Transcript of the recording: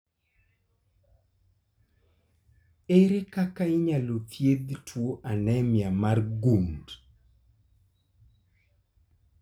Ere kaka inyalo thiedh tuwo anemia mar gund ?